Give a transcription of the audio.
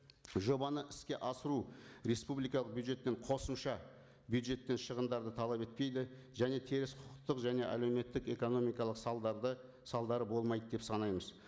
жобаны іске асыру республикалық бюджеттен қосымша бюджеттен шығындарды талап етпейді және теріс құқықтық және әлеуметтік экономикалық салдарды салдары болмайды деп санаймыз